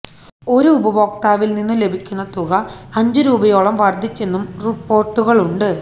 ഒരു ഉപഭോക്താവില് നിന്നും ലഭിക്കുന്ന തുക അഞ്ച് രൂപയോളം വര്ധിച്ചെന്നും റിപ്പോര്ട്ടുകളുണ്ട്